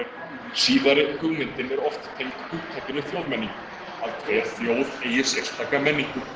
Síðari hugmyndin er oft tengd hugtakinu þjóðmenning, að hver þjóð eigi sérstaka menningu.